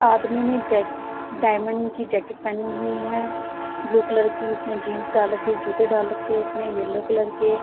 आदमी ने jack diamond की जैकेट पेहेनी हुई है ब्लू कलर की इस ने जीन्स डाल रखी है जूते डाल रखी है उसने येलो कलर के ।